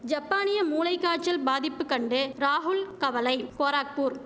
ஜப்பானிய மூளைக்காய்ச்சல் பாதிப்புக் கண்டு ராகுல் கவலை கோராக்பூர்